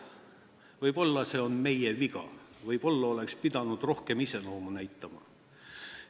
Võib-olla on see meie viga, võib-olla oleks pidanud rohkem iseloomu näitama.